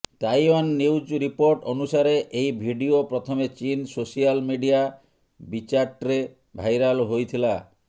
Taiwan news report ଅନୁସାରେ ଏହି video ପ୍ରଥମେ ଚୀନ୍ ସୋସିଆଲ ମିଡିଆ ବିଚାଟ୍ରେ ଭାଇରାଲ ହୋଇଥିଲା